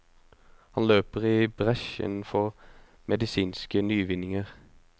Han løper i bresjen for medisinske nyvinninger.